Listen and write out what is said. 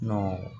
Nɔnɔn